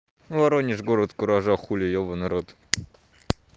воронеж город куража хули ёбанный рот